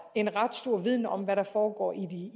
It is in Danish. en ret stor viden om hvad der foregår i